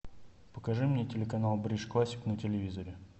покажи мне телеканал бридж классик на телевизоре